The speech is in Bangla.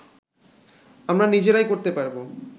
আমরা নিজেরাই করতে পারবো